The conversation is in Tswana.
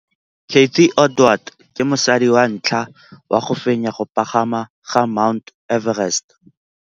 Cathy Odowd ke mosadi wa ntlha wa go fenya go pagama ga Mt Everest.